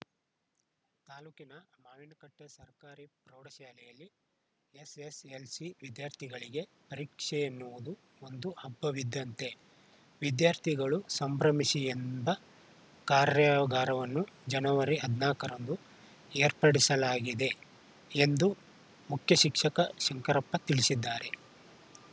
ತಾಲೂಕಿನ ಮಾವಿನಕಟ್ಟೆಸರ್ಕಾರಿ ಪ್ರೌಢಶಾಲೆಯಲ್ಲಿ ಎಸ್‌ಎಸ್‌ಎಲ್‌ಸಿ ವಿದ್ಯಾರ್ಥಿಗಳಿಗೆ ಪರೀಕ್ಷೆ ಎನ್ನುವುದು ಒಂದು ಹಬ್ಬ ವಿದ್ದಂತೆ ವಿದ್ಯಾರ್ಥಿಗಳು ಸಂಭ್ರಮಿಸಿ ಎಂಬ ಕಾರ್ಯಾಗಾರವನ್ನು ಜನವರಿ ಹದಿನಾಕ ರಂದು ಏರ್ಪಡಿಸಲಾಗಿದೆ ಎಂದು ಮುಖ್ಯ ಶಿಕ್ಷಕ ಶಂಕರಪ್ಪ ತಿಳಿಸಿದ್ದಾರೆ